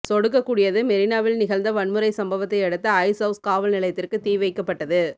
சொடுக்கக்கூடியது மெரினாவில் நிகழ்ந்த வன்முறை சம்பவத்தையடுத்து ஐஸ்அவுஸ் காவல் நிலையத்திற்கு தீ வைக்கப்பட்டது